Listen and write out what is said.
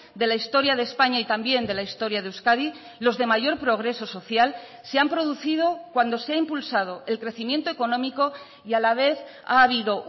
de la historia de españa y también de la historia de euskadi los de mayor progreso social se han producido cuando se ha impulsado el crecimiento económico y a la vez ha habido